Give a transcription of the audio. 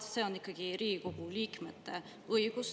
Aga see on ikkagi Riigikogu liikmete õigus.